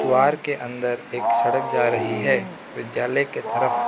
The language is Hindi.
द्वार के अंदर एक सड़क जा रही है विद्यालय के तरफ --